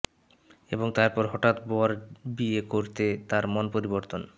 এবং তারপর হঠাৎ বর বিয়ে করতে তার মন পরিবর্তন